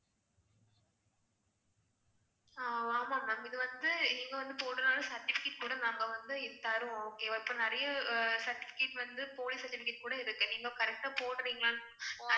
ஆஹ் ஆமா ma'am இது வந்து இங்க வந்து போடுறதனால certificate கூட நாங்க வந்து தருவோம். okay வா இப்ப நிறைய certificate வந்து போலி certificate கூட இருக்கு. நீங்க correct ஆ போடுறீங்களானு